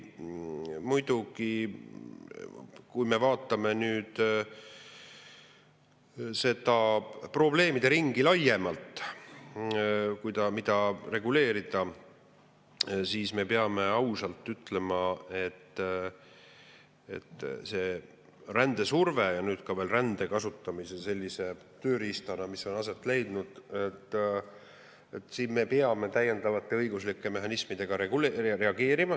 Muidugi, kui me vaatame nüüd seda probleemideringi laiemalt, mida tuleks reguleerida, siis me peame ausalt ütlema, et rändesurvele ja nüüd ka rände kasutamisele sellise tööriistana, nagu see on aset leidnud, me peame täiendavate õiguslike mehhanismidega reageerima.